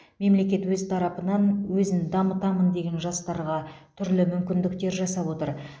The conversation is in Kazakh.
мемлекет өз тарапынан өзін дамытамын деген жастарға түрлі мүмкіндіктер жасап отыр